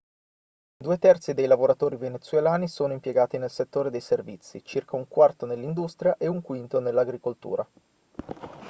due terzi dei lavoratori venezuelani sono impiegati nel settore dei servizi circa un quarto nell'industria e un quinto nell'agricoltura